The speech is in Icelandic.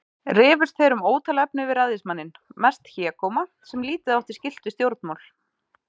Rifust þeir um ótal efni við ræðismanninn, mest hégóma, sem lítið átti skylt við stjórnmál.